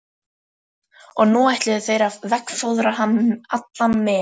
Og nú ætluðu þeir að veggfóðra hann allan með pappa.